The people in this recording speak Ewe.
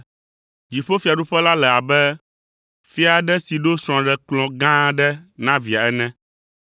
“Dziƒofiaɖuƒe la le abe fia aɖe si ɖo srɔ̃ɖekplɔ̃ gã aɖe na via ene.